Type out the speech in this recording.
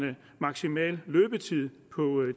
maksimal løbetid på